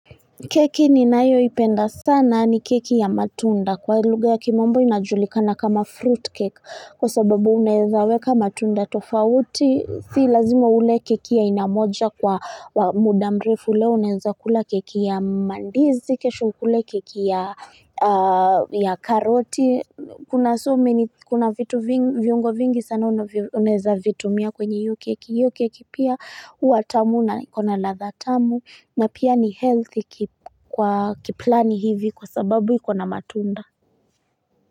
Keki ninayoipenda sana ni keki ya matunda. Kwa lugha ya kimombo inajulikana kama fruitcake. Kwa sababu unaeza weka matunda tofauti, si lazima ule keki ya aina moja kwa muda mrefu leo unaeza kula keki ya mandizi, kesh ukule keki ya karoti. Kuna so many kuna vitu vingi, viungo vingi sana unaeza vitumia kwenye hiyo keki, hiyo keki pia huwa tamu na ikona ladha tamu na pia ni healthy kwa kiplani hivi kwa sababu ikona matunda.